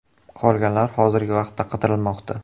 Qolganlar hozirgi vaqtda qidirilmoqda.